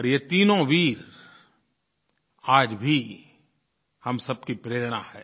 और ये तीनों वीर आज भी हम सबकी प्रेरणा हैं